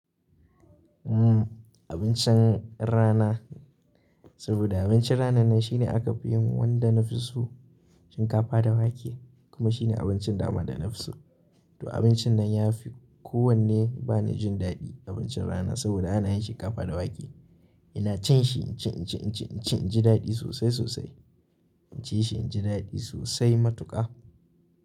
Abincin rana, saboda abincin ranan nan shine aka fi yin wanda na fi so shinkafa da wake kuma shine abincin dama da na fi so. To abincin nan ya fi kowane bani jin daɗi abincin rana saboda ana yin shinkafa da wake. Ina cin shi inci, inci, inci, inci inji daɗi sosai sosai. Inci shi inji daɗi sosai matuƙa.